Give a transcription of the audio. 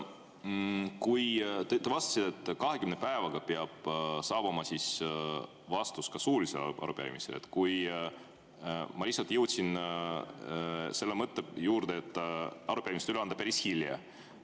Kui te vastasite, et 20 päevaga peab saabuma vastus ka suulisele arupärimisele, siis ma jõudsin selle mõtte juurde, et arupärimist üle anda on päris hilja.